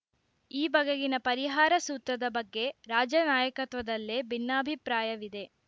ಈ ಬಗೆಗಿನ ಪರಿಹಾರ ಸೂತ್ರದ ಬಗ್ಗೆ ರಾಜ್ಯ ನಾಯಕತ್ವದಲ್ಲೇ ಭಿನ್ನಾಭಿಪ್ರಾಯವಿದೆ